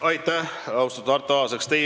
Aitäh, austatud Arto Aas!